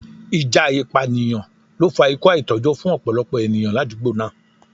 Ìjà ìpànìyàn ló fa ikú àìtójó fún ọ̀pọ̀lọpọ̀ ènìyàn l'àdúgbò náà.